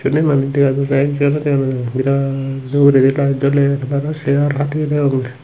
inni manei dega jaidey ekjonw dega nw jai birat ugredi light joler bana cheyar hateye deyongey.